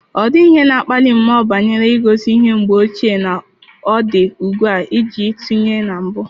Ọ dịghị ihe na-akpali mmụọ banyere ngosi ihe mgbe ochie na ọ dị ugbu a iji tụnyere na mbụ.